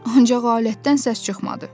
Ancaq alətdən səs çıxmadı.